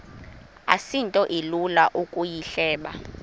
asinto ilula ukuyihleba